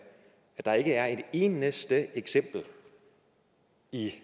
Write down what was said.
er at der ikke er et eneste eksempel i